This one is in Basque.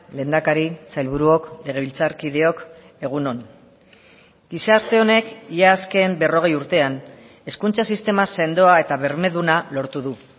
lehendakari sailburuok legebiltzarkideok egun on gizarte honek ia azken berrogei urtean hezkuntza sistema sendoa eta bermeduna lortu du